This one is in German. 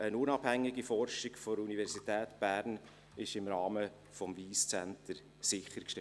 Eine unabhängige Forschung der Universität Bern ist im Rahmen des Wyss Centre sichergestellt.